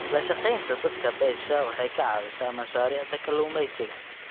La shaqaynta dadka beesha waxay ka caawisaa mashaariicda kalluumaysiga.